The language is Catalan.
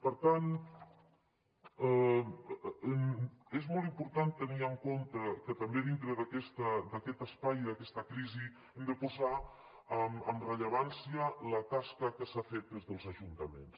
per tant és molt important tenir en compte que també dintre d’aquest espai d’aquesta crisi hem de posar en rellevància la tasca que s’ha fet des dels ajuntaments